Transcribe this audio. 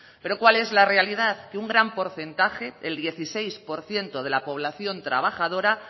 pero cuál es la realidad que un gran porcentaje el dieciséis por ciento de la población trabajadora